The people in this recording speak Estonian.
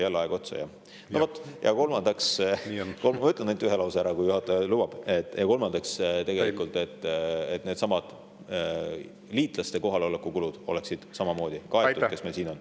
Ja kolmandaks – ma ütlen ainult ühe lause veel, kui juhataja lubab – on tähtis, et oleks kaetud nende liitlaste kohaloleku kulud, kes meil siin on.